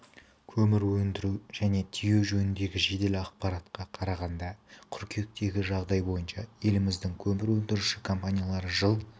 көмір өндіру және тиеу жөніндегі жедел ақпаратқа қарағанда қыркүйектегі жағдай бойынша еліміздің көмір өндіруші компаниялары жыл